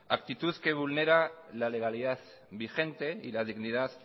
actitud que vulnera la legalidad vigente y la dignidad